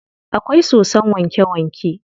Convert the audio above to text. Akwai sosson wanke wanke.